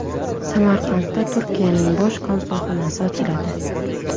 Samarqandda Turkiyaning bosh konsulxonasi ochiladi.